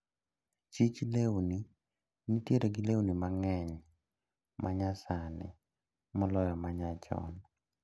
Chich lewni nitiere gi lewni mang`eny manyasani moloyo manyachon.